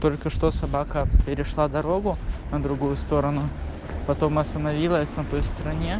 только что собака перешла дорогу на другую сторону потом остановилась на той стороне